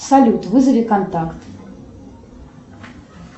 салют вызови контакт